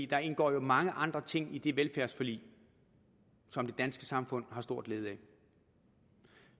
der indgår jo mange andre ting i det velfærdsforlig som det danske samfund har stor glæde af